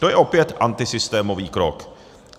To je opět antisystémový krok.